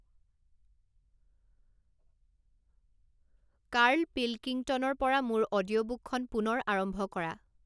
Carl পিলকিংটনৰ পৰা মোৰ অডিঅ'বুকখন পুনৰ আৰম্ভ কৰা